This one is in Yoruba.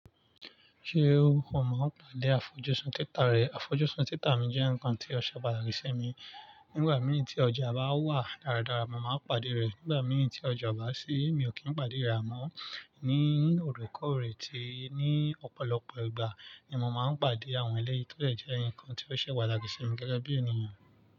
Ṣé o kò mọ ìpàdé àfojúsùn títà rẹ? Àfojúsùn títà mi jẹ́ ǹkan tí ó ṣe wà láìsí mi. Nígbà mìíràn tí ọjà bá wà dáradára, mo máa ń pàdé rẹ̀. Nígbà mìíràn tí ọjà bá sí, mi ò kí ń pàdé rẹ̀ mọ́. Ní òrékòrè tí ní ọ̀pọ̀lọpọ̀ ìgbà ni mo máà ń pàdé àwọn eléyì tó dè jẹ́ ǹkan tí ó ṣe pàtàkì sími gẹ́gẹ́ bí ènìyàn.